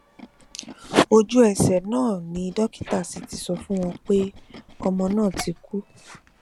ojúẹsẹ náà ni dókítà sì ti sọ fún wọn pé ọmọ náà ti kú